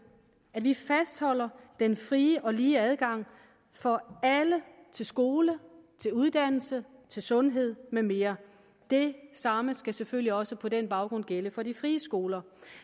at vi fastholder den frie og lige adgang for alle til skole til uddannelse til sundhed med mere det samme skal selvfølgelig også på den baggrund gælde for de frie skoler